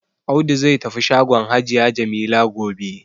Audu zai tafi shagon hajiya Jamila gobe.